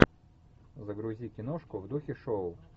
загрузи киношку в духе шоу